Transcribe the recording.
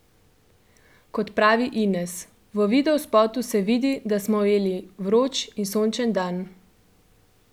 Kot pravi Ines: 'V videospotu se vidi, da smo ujeli vroč in sončen dan.